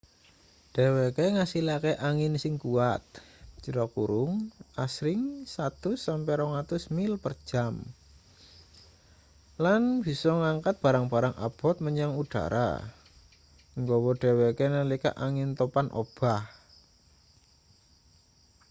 dheweke ngasilake angin sing kuwat asring 100-200 mil/jam lan bisa ngangkat barang-barang abot menyang udhara nggawa dheweke nalika angin topan obah